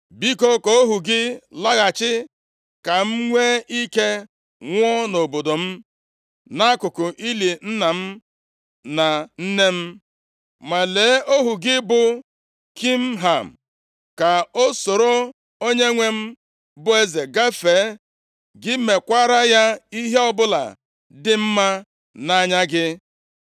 Biko, ka ohu gị laghachi, ka m nwee ike nwụọ nʼobodo m, nʼakụkụ ili nna m na nne m. Ma lee ohu gị bụ Kimham, ka o soro onyenwe m, bụ eze gafee. Gị mekwara ya ihe ọbụla dị mma nʼanya gị.”